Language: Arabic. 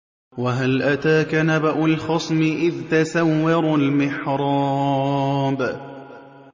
۞ وَهَلْ أَتَاكَ نَبَأُ الْخَصْمِ إِذْ تَسَوَّرُوا الْمِحْرَابَ